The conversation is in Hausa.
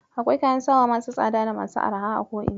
Akwai kayan sawa masu tsada da masu arha a ko ina.